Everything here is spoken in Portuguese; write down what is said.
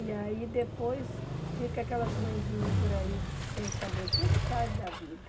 E aí depois fica aquelas mãezinhas por aí sem saber o que é que faz da vida.